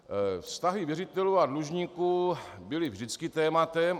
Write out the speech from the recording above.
Vztahy věřitelů a dlužníků byly vždycky tématem.